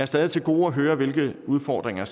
stadig til gode at høre hvilke udfordringer